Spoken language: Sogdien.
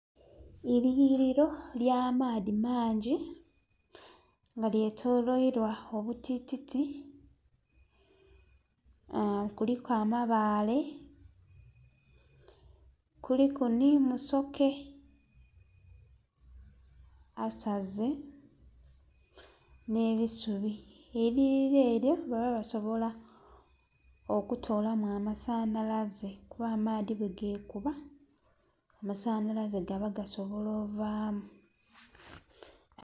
Eiyughiliro ely'amaadhi mangi nga lyetoloirwa obutititi, kuliku amabaale kuliku ni musoke asaze n'ebisubi. Eiyughiliro lino baba basobola okutolamu amasanalaze kuba amaadhi bwegekuba amasanalaze gaba gasobola ovaamu.